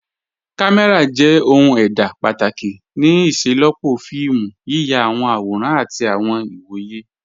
Kàmẹ́ra jẹ̀ ohun èdá pátákì ní ìṣẹ̀lọpọ́ fíìmù, yíyà àwọn àwòrán àtì àwọn ìwọ̀yẹ̀.